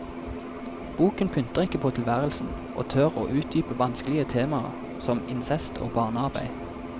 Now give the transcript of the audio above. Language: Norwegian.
Boken pynter ikke på tilværelsen, og tør å utdype vanskelige temaer som incest og barnearbeid.